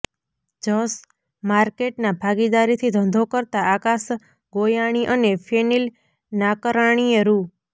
જશ માર્કેટના ભાગીદારીથી ધંધો કરતા આકાશ ગોયાણી અને ફેનિલ નાકરાણીએ રૃ